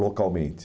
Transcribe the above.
localmente.